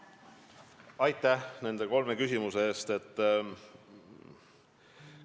Aitäh nende kolme küsimuse eest!